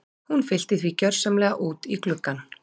Hún fyllti því gjörsamlega út í gluggann.